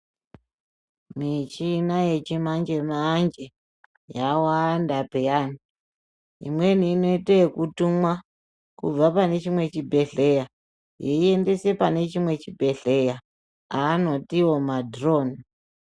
Michina yechimanje-manje yawanda pheya. Imweni inoite ekutumwa kubva pane chimweni chibhedhleya, yeiendese pane chimwe chibhedhleya ,aanotiwo madhironi.